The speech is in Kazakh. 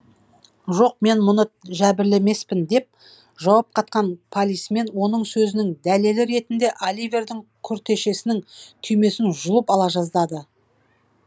жоқ мен мұны жәбірлемеспін деп жауап қатқан полисмен оның сөзінің дәлелі ретінде оливердің күртешесінің түймесін жұлып ала жаздады